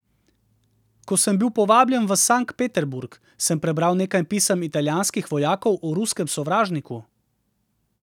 Ko sem bil povabljen v Sankt Peterburg, sem prebral nekaj pisem italijanskih vojakov o ruskem sovražniku.